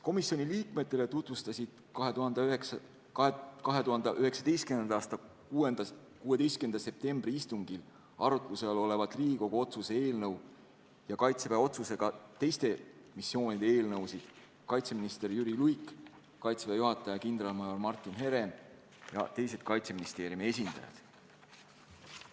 Komisjoni liikmetele tutvustasid 2019. aasta 16. septembri istungil arutluse all olevat Riigikogu otsuse eelnõu ja teiste Kaitseväe osalusega missioonide eelnõusid kaitseminister Jüri Luik, Kaitseväe juhataja kindralmajor Martin Herem ja teised Kaitseministeeriumi esindajad.